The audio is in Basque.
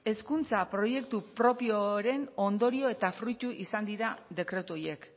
hezkuntza proiektu propioren ondorio eta fruitu izan dira dekretu horiek